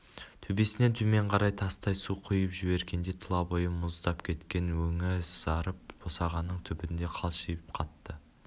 төбесінен төмен қарай тастай су құйып жібергендей тұла бойы мұздап кеткен өңі сазарып босағаның түбінде қалшиып қатты